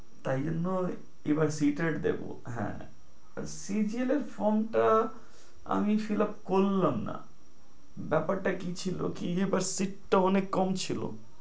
তাই জন্য এবার CTET টা দিবো, হ্যাঁ CGL এর form টা আমি fillup কললাম না। ব্যাপারটা কি ছিলো, কি যে sheet টা অনেক কম ছিলো।